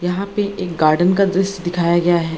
यहाँ पे एक गार्डन का दृश्य दिखाया गया है।